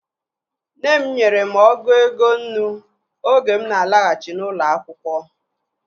Nne m nyere m ọgụ ego nnu oge mụ na alaghachi n'ụlọ akwụkwọ